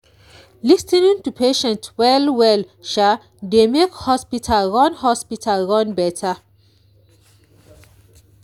lis ten ing to patients well-well dey make hospital run hospital run better.